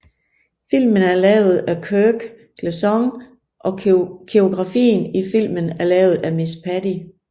Filmen er lavet af Kirk Gleason og koreografien i filmen er lavet af miss Patty